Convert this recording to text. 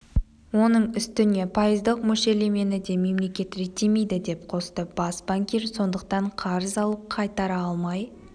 оның үстіне пайыздық мөлшерлемені де мемлекет реттемейді деп қосты бас банкир сондықтан қарыз алып қайтара алмай